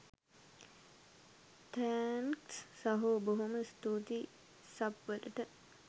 thanks සහෝ බොහොම ස්තූතියි සබ් වලට